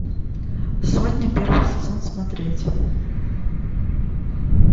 сотня первый сезон смотреть